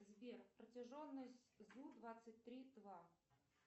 сбер протяженность зу двадцать три два